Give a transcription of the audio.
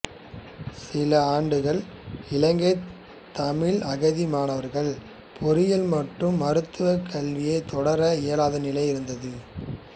சில ஆண்டுகள் இலங்கைத் தமிழ் அகதி மாணவர்கள் பொறியியல் மற்றும் மருத்துவக் கல்வியைத் தொடர இயலாத நிலை இருந்தது